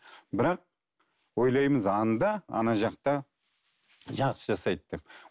бірақ ойлаймыз анда ана жақта жақсы жасайды деп